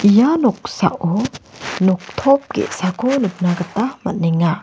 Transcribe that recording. ia noksao noktop ge·sako nikna gita man·enga.